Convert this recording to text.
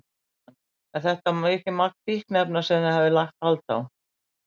Jóhann: Er þetta mikið magn fíkniefna sem þið hafið lagt hald á?